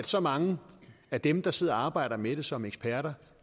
så mange af dem der sidder og arbejder med det som eksperter